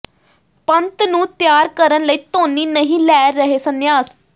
ਪੰਤ ਨੂੰ ਤਿਆਰ ਕਰਨ ਲਈ ਧੋਨੀ ਨਹੀਂ ਲੈ ਰਹੇ ਸੰਨਿਆਸ